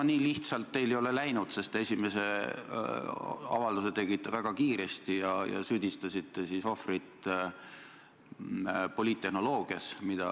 No nii lihtsalt teil ei ole läinud, sest esimese avalduse tegite väga kiiresti ja süüdistasite ohvrit poliittehnoloogias.